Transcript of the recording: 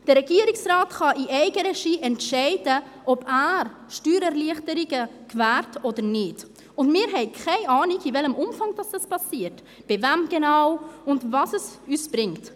Der Regierungsrat kann in Eigenregie entscheiden, ob er Steuererleichterungen gewährt oder nicht, und wir haben keine Ahnung, in welchem Umfang das geschieht, bei wem genau und was es uns bringt.